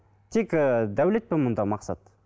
тек ііі дәулет пе мұнда мақсат